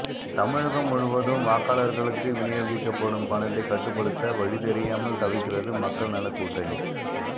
தமிழகம் முழுவதும் வாக்காளர்களுக்கு விநியோகிக்கப்படும் பணத்தைக் கட்டுப்படுத்த வழிதெரியாமல் தவிக்கிறது மக்கள் நலக் கூட்டணி